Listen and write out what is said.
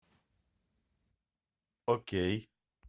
окей